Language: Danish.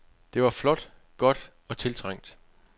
Det var flot, godt og tiltrængt.